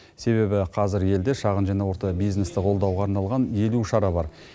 себебі қазір елде шағын және орта бизнесті қолдауға арналған елу шара бар